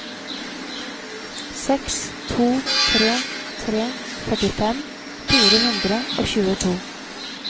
seks to tre tre førtifem fire hundre og tjueto